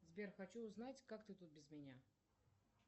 сбер хочу узнать как ты тут без меня